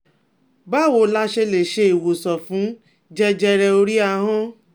Báwo la ṣe lè se iwosan fun jẹjẹre ori ahan?